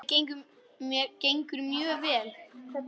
Mér gengur mjög vel.